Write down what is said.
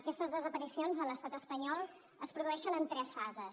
aquestes desaparicions a l’estat espanyol es produeixen en tres fases